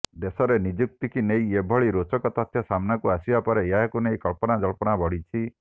ଦେଶରେ ନିଯୁକ୍ତିକୁ ନେଇ ଏଭଳି ରୋଚକ ତଥ୍ୟ ସାମ୍ନାକୁ ଆସିବା ପରେ ଏହାକୁ ନେଇ କଳ୍ପନା ଜଳ୍ପନା ବଢ଼ିଛି